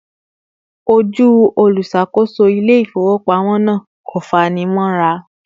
Ojú olùṣàkóso ilé ifowopamọ na kò fani mora